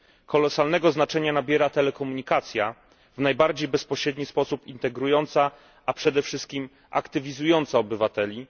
Kolosalnego znaczenia nabiera telekomunikacja, w najbardziej bezpośredni sposób integrująca, a przede wszystkim aktywizująca obywateli.